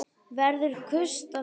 Verður gustur á þér þar?